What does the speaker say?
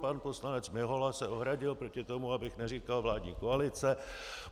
Pan poslanec Mihola se ohradil proti tomu, abych neříkal vládní koalice.